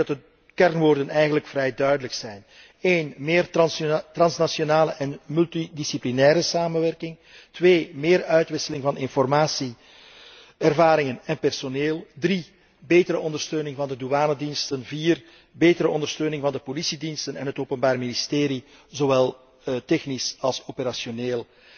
De kern is eigenlijk vrij duidelijk 1 meer transnationale en multidisciplinaire samenwerking, 2 meer uitwisseling van informatie, ervaringen en personeel, 3 betere ondersteuning van de douanediensten, 4 betere ondersteuning van de politiediensten en het Openbaar Ministerie, zowel technisch als operationeel.